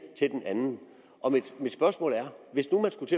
til den anden mit spørgsmål er hvis